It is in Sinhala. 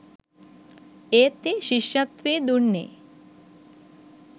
ඒත් ඒ ශිෂ්‍යත්වෙ දුන්නේ